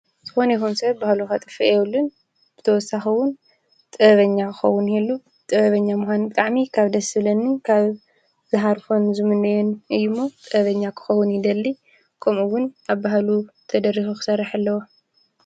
ዝኾን የሆን ሴበብ ብሃሉ ኻጥፊ የልን ብተወሳኸዉን ጠበኛ ክኸዉን የሉ ጥበበኛ ምሓን ቃዕሚ ካብ ደስብለኒ ካብ ዝሃርፎን ዝሙነን እዩ እሞ ጠበኛ ክኸዉን ይደሊ ቆምኡውን ኣብ ብሃሉ ተደሪኁኽሠርሕ ኣለዉ።